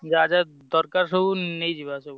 ଯାହା ଯାହା ଦରକାର ସବୁ ନେଇଯିବା ସବୁ।